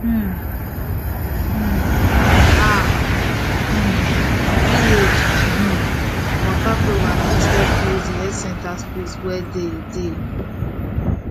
um um ah um village um waka program fit help close de healthcare space wey dey dey